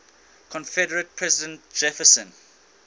confederate president jefferson